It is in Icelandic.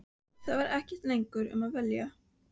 Það er ekkert lengur um að velja.